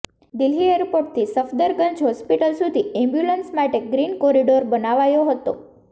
દિલ્હી એરપોર્ટથી સફદરગંજ હોસ્પિટલ સુધી એમ્બ્યુલન્સ માટે ગ્રીન કોરિડોર બનાવાયો હતો